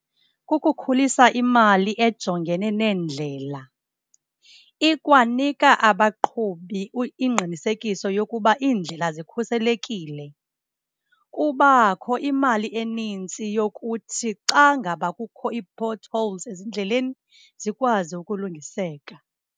Kukukhulisa imali ejongene neendlela. Ikwanika abaqhubi ingqinisekiso yokuba iindlela zikhuselekile. Kubakho imali enintsi yokuthi xa ngaba kukho ii-potholes ezindleleni, zikwazi ukulungiseka.